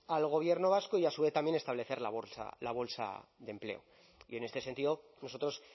al gobierno vasco y a su vez también establecer la bolsa de empleo y en este sentido nosotros